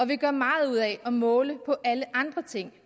vi gør meget ud af at måle på alle andre ting